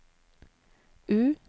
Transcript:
U